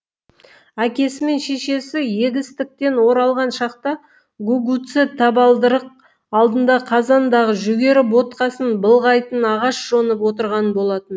әкесі мен шешесі егістіктен оралған шақта гугуцэ табалдырық алдында қазандағы жүгері ботқасын былғайтын ағаш жонып отырған болатын